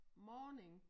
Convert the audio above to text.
Morning